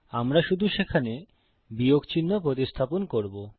আমরা শুধু সেখানে বিয়োগ চিহ্ন প্রতিস্থাপন করব